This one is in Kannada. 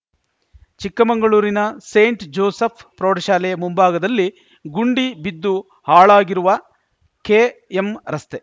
ಚಿಕ್ಕಮಂಗಳೂರಿನ ಸೆಂಟ್‌ ಜೋಸೆಫ್‌ ಪ್ರೌಢಶಾಲೆಯ ಮುಂಭಾಗದಲ್ಲಿ ಗುಂಡಿ ಬಿದ್ದು ಹಾಳಾಗಿರುವ ಕೆಎಂ ರಸ್ತೆ